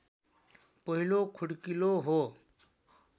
पहिलो खुड्किलो हो